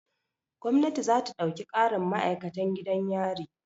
Gwamnati za ta ɗauki ƙarin ma'akatan gidan yari.